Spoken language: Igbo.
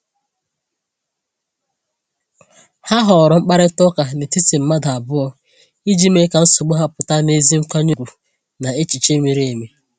Ha họọrọ mkparịta ụka n’etiti mmadụ abụọ iji mee ka nsogbu ha pụta n’ezi nkwanye ùgwù na n’echiche miri emi.